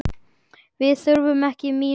Við þurfum ekki mín orð.